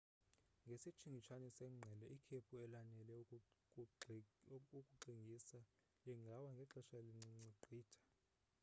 ngesitshingitshane sengqele ikhephu elanele ukukuxingisa lingawa ngexesha elincinci gqitha